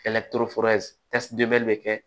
bɛ kɛ